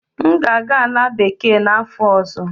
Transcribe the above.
M ga-aga Ala bekee n'afọ ọzọ.